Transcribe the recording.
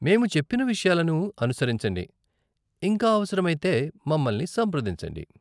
మేము చెప్పిన విషయాలను అనుసరించండి, ఇంకా అవసరమైతే మమ్మల్ని సంప్రదించండి.